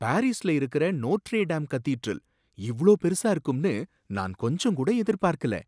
பாரிஸ்ல இருக்கற Notre Dame cathedral இவ்ளோ பெருசா இருக்கும்னு நான் கொஞ்சம் கூட எதிர்பார்க்கல